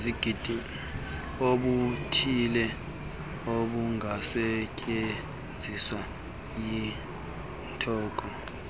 obuthile obungasetyenziswa yinkonzo